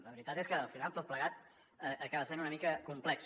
la veritat és que al final tot plegat acaba sent una mica complex